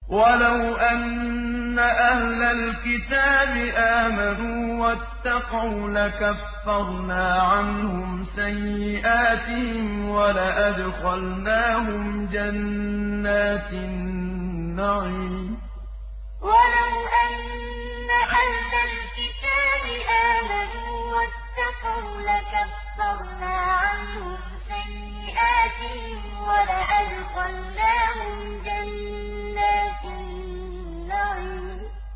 وَلَوْ أَنَّ أَهْلَ الْكِتَابِ آمَنُوا وَاتَّقَوْا لَكَفَّرْنَا عَنْهُمْ سَيِّئَاتِهِمْ وَلَأَدْخَلْنَاهُمْ جَنَّاتِ النَّعِيمِ وَلَوْ أَنَّ أَهْلَ الْكِتَابِ آمَنُوا وَاتَّقَوْا لَكَفَّرْنَا عَنْهُمْ سَيِّئَاتِهِمْ وَلَأَدْخَلْنَاهُمْ جَنَّاتِ النَّعِيمِ